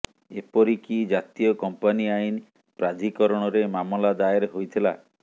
ଏପରି କି ଜାତୀୟ କମ୍ପାନୀ ଆଇନ ପ୍ରାଧିକରଣରେ ମାମଲା ଦାଏର ହୋଇଥିଲା